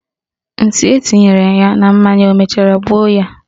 Nsị etinyere ya na mmanya o mechara gbuo ya?